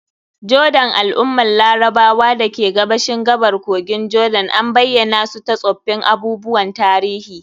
Jordan, al'ummar Larabawa da ke gabashin gabar kogin Jordan, an bayyana su ta tsoffin abubuwan tarihi.